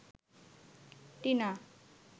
Tina